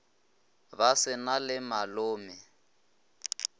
ba se na le malome